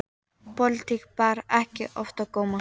Pólitík bar ekki oft á góma.